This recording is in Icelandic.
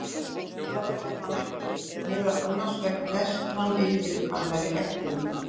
Það verður hann ekki, meðal annars vegna þess að hann yrði úr annarri eggfrumu.